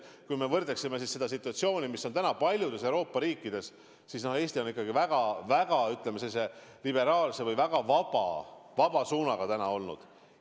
Kui me võrdleme oma situatsiooni sellega, mis on täna paljudes Euroopa riikides – no Eesti on ikkagi väga liberaalse või väga vaba suunaga olnud.